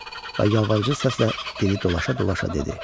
Və yalvarıcı səslə dili dolaşa-dolaşa dedi.